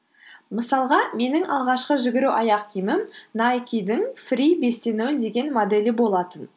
мысалға менің алғашқы жүгіру аяқ киімім найкидың фри бес те нөл деген моделі болатын